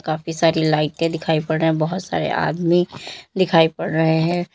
काफी सारी लाइटें दिखाई पड़ रहे हैं बहोत सारे आदमी दिखाई पड़ रहे हैं।